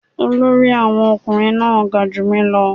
Olórí Awon omokunrin náà ga ju mi ​​lọ